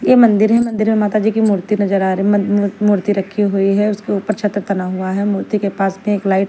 ये मंदिर है मंदिर में माता जी की मूर्ति नजर आ रही म-म-मूर्ति रखी हुई है उसके ऊपर छत्र तना हुआ है मूर्ति के पास में एक लाइट --